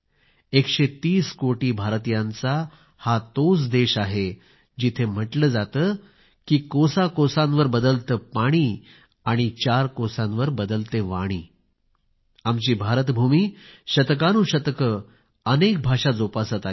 एकशे तीस कोटी भारतीयांचा हा तोच देश आहे जेथे म्हंटले जाते की कोसाकोसांवर बदलते पाणी आणि चार कोसांवर बदलते वाणी आमची भारत भूमी शतकानुशतके अनेक भाषा जोपासत आली आहे